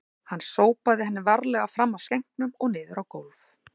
Hann sópaði henni varlega fram af skenknum og niður á gólf